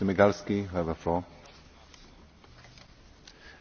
Dziękuję, Panie Pośle, za przyjęcie niebieskiej kartki.